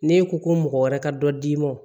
N'e ko ko mɔgɔ wɛrɛ ka dɔ d'i ma